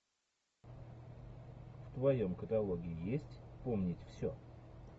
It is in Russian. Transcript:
в твоем каталоге есть вспомнить все